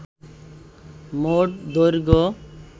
মোট দৈর্ঘ্য